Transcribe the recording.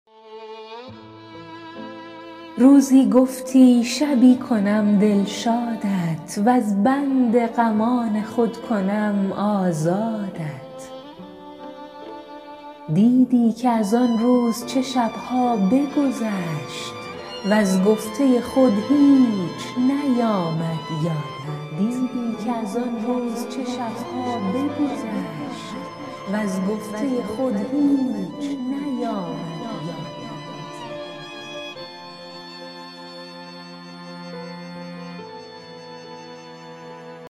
روزی گفتی شبی کنم دلشادت وز بند غمان خود کنم آزادت دیدی که از آن روز چه شب ها بگذشت وز گفته خود هیچ نیامد یادت